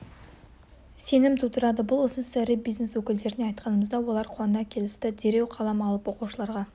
сенім тудырады бұл ұсынысты ірі бизнес өкілдеріне айтқанымызда олар қуана келісті дереу қалам алып оқушыларға